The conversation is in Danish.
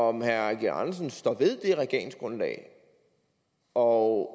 om herre eigil andersen står ved det regeringsgrundlag og